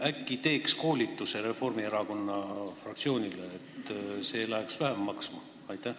Äkki teeks koolituse Reformierakonna fraktsioonile, see läheks vähem maksma?